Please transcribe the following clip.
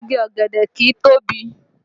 Igi ọ̀gẹ̀dẹ̀ kìí tóbi